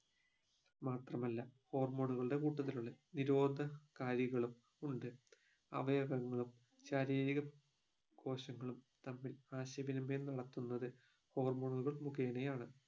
മാത്രമല്ല hormone ഉകളുടെ കൂട്ടത്തിനുള്ളിൽ നിരോധ കാരികളും ഉണ്ട് അവയവങ്ങളും ശാരീരിക കോശങ്ങളും തമ്മിൽ ആശയവിനിമയം നടത്തുന്നത് hormone ഉകൾ മുഗേനയാണ്